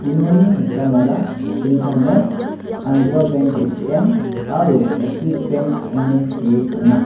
unoni mitamara intarnet andra benk A_T_M aro eksis benk ine see dona.